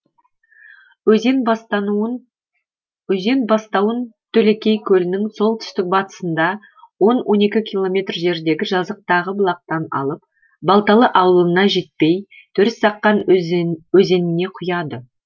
өзен бастауын телекей көлінің солтүстік батысында он он екі километр жердегі жазықтағы бұлақтан алып балталы ауылына жетпей терісаққан өзеніне құяды